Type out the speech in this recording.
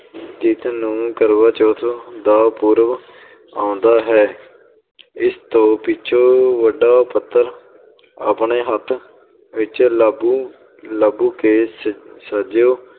ਜਿਸਨੂੰ ਕਰਵਾ ਚੌਥ ਦਾ ਪੁਰਬ ਆਉਂਦਾ ਹੈ ਇਸ ਤੋਂ ਪਿੱਛੋਂ ਵੱਡਾ ਪੱਧਰ ਆਪਣੇ ਹੱਥ ਵਿੱਚ ਲੱਭ ਲੱਭ ਕੇ